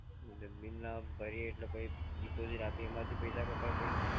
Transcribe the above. એટલે બિલ ના ભરીએ એટલે પાહિ ડિપોઝિટ આપી એમાંથી પૈસા કપાય પછી?